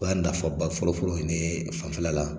O y'a nafaba fɔlɔfɔlɔ ye ne fanfɛla la.